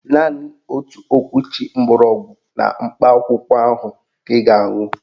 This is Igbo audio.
Naanị otu okwuchi gbọrọgwụ na mkpa akwụkwọ ahụ ka ị ga-aṅụ